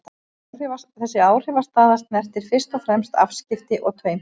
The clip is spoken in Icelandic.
Þessi áhrifastaða snertir fyrst og fremst afskipti og taumhald.